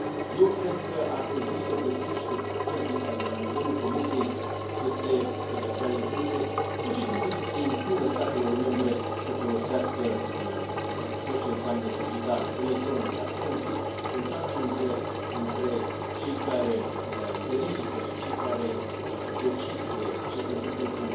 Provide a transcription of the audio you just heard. Eu cred că ar trebui să găsim niște pârghii, ca de la nivelul Comisiei pur și simplu să se impună statelor membre să folosească tot ce înseamnă digital, electronic, astfel încât contactul între cei care verifică și cei care decid ce se întâmplă cu